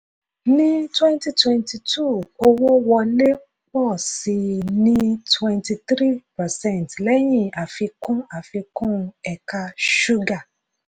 ní twenty twenty two owó wọlé pọ̀ sí i ní twenty three percent lẹ́yìn àfikún àfikún ẹ̀ka ṣúgà.